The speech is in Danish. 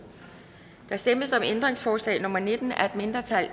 der stemmes om ændringsforslag nummer nitten af et mindretal